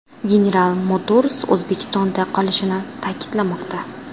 General Motors O‘zbekistonda qolishini ta’kidlamoqda.